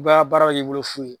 U bɛ baara bɛ k'i bolo f'u ye